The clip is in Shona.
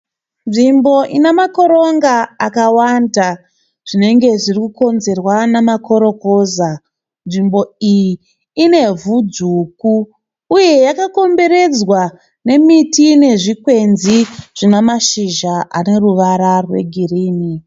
Nzvimbo ine makoronga akawanda zvinenge zviri kukonzerwa nemakorokoza, nzvimbo iyi ine ivhu dzvuku, uye nzvimbo iyi yakakomberedzwa nezvikwenzi zvine mazhizha ane ruvara rwegirini.